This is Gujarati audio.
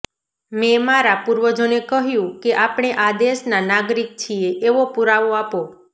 મેં મારા પૂર્વજોને કહ્યું કે આપણે આ દેશના નાગરિક છીએ એવો પુરાવો આપો